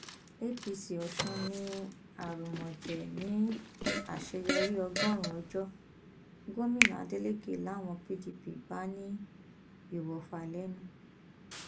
apc ọsùn ní arúmọjẹ ní àṣeyọrí ọgọrùnún ọjọ gómìnà adeleke làwọn pdp bá ní ìwòfà lẹnu